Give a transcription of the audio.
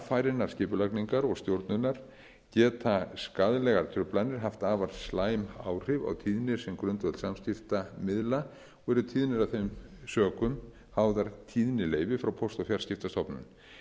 án varfærinnar skipulagningar og stjórnunar geta skaðlegar truflanir haft afar slæm áhrif á tíðni sem grundvöll samskiptamiðla og eru tíðnir af þeim sökum háðar tíðnileyfi hjá póst og fjarskiptastofnun